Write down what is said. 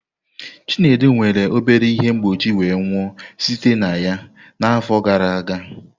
Chinedu nwere obere ihe mgbochi wee nwụọ site na ya n'afọ gara aga.